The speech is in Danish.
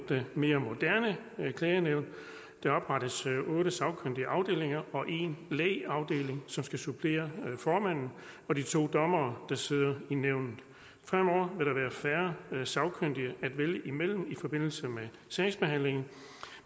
mere moderne klagenævn der oprettes otte sagkyndige afdelinger og en lægafdeling som skal supplere formanden og de to dommere der sidder i nævnet fremover vil der være færre sagkyndige at vælge imellem i forbindelse med sagsbehandlingen